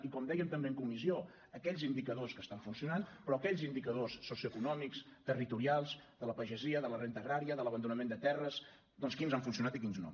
i com dèiem també en comissió aquells indicadors que estan funcionant però aquells indicadors socioeconòmics territorials de la pagesia de la renda agrària de l’abandonament de terres doncs quins han funcionat i quins no